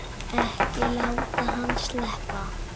Ekki láta hann sleppa!